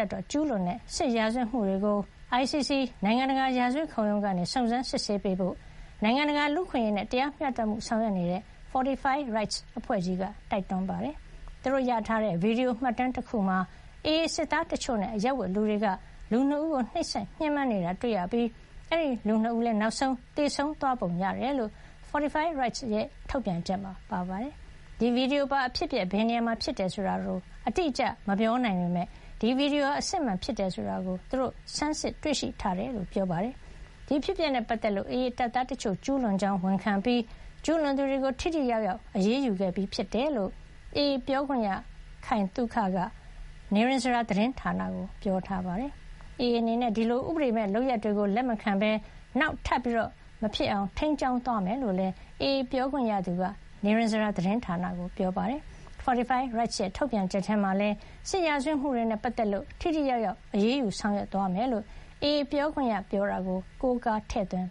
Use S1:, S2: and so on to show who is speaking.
S1: ပ်တော် ကျူးလွန်တဲ့ စစ်ရာဇဝတ်မှုတွေကို ICC နိုင်ငံတကာ ရာဇဝတ်ခုံရုံးကနေ စုံစမ်းစစ်ဆေးပေးဖို့ နိုင်ငံတကာ လူ့အခွင့်အရေးနဲ့ တရားမျှတမှုကို ဆောင်ရွက်နေတဲ့ Fortify Rights အဖွဲ့ကြီးက တိုက်တွန်းပါတယ်။ သူတို့ရထားတဲ့ ဗွီဒီယိုမှတ်တမ်းတခုမှာ AA စစ်သားတချို့နဲ့ အရပ်ဝတ်လူတွေက လူ ၂ ဦးကို နှိပ်စက်ညှဉ်းပန်း နေတာကိုတွေ့ရပြီး အဲဒီလူ ၂ ဦးလည်း နောက်ဆုံး သေဆုံးသွားပုံရတယ်လို့ Fortify Rights အဖွဲ့ရဲ့ ထုတ်ပြန်ချက်မှာ ပါရှိပါတယ်။ ဒီဗွီဒီယိုပါ အဖြစ်အပျက် ဘယ်နေရာမှာ ဖြစ်လဲဆိုတာကို အတိအကျ မပြောနိုင်ပေမဲ့ ဒီဗွီဒီယိုဟာ အစစ်အမှန် ဖြစ်တယ်ဆိုတာ သူတို့ ဆန်းစစ်တွေ့ရှိထားတယ်လို့လည်း ပြောပါတယ်။ ဒီအဖြစ်အပျက်နဲ့ ပတ်သက်လို့ AA တပ်သားတချို့ ကျူးလွန်ကြောင်း ဝန်ခံပြီး ကျူးလွန်သူတွေကို ထိထိရောက်ရောက် အရေးယူခဲ့ပြီး ဖြစ်တယ်လို့ AA ပြောခွင့်ရသူ ခိုင်သုခက နိရဉ္စရာ သတင်းဌာနကို ပြောထားပါတယ်။ AA အနေနဲ့ ဒီလို ဥပဒေမဲ့လုပ်ရပ်တွေကို လက်မခံဘဲ နောင်ထပ်မဖြစ်အောင် ထိန်းကျောင်းသွားမယ်လို့လည်း AA ပြောခွင့်ရသူက နိရဉ္စရာ သတင်းဌာနကို ပြောထားပါတယ်။ Fortify Rights ရဲ့ ထုတ်ပြန်ချက်ထဲမှာလည်း စစ်ရာဇဝတ်မှုတွေနဲ့ ပတ်သက်လို့ ထိထိရောက်ရောက် အရေးယူ ဆောင်ရွက်သွားမယ်လို့ AA ပြောခွင့်ရ ပြောတာကို ကိုးကားထည့်သွင်း